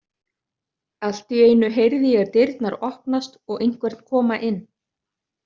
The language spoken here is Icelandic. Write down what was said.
Allt í einu heyrði ég dyrnar opnast og einhvern koma inn.